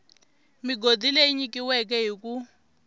migodi leyi nyikiweke hi ku